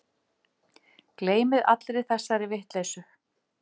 Gleymið allri þessari vitleysu